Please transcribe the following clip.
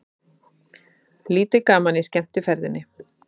Lítið gaman í skemmtiferðinni